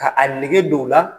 Ka a nege don u la.